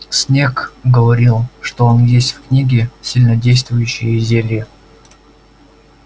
снегг говорил что он есть в книге сильнодействующие зелья